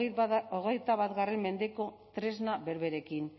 hogeita bat mendeko tresna berberekin